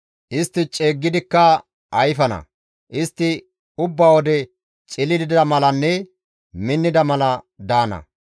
Istti ceeggidikka ayfana; istti ubba wode cililida malanne minnida mala daana.